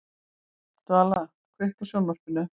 Svala, kveiktu á sjónvarpinu.